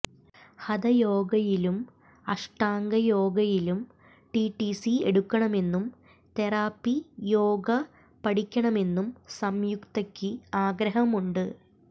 ഹതയോഗയിലും അഷ്ടാംഗയോഗയിലും ടിടിസി എടുക്കണമെന്നും തെറാപ്പിയോഗ പഠിക്കണമെന്നും സംയുക്തയ്ക്ക് ആഗ്രഹമുണ്ട്